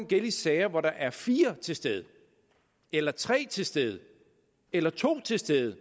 gælde i sager hvor der er fire til stede eller tre til stede eller to til stede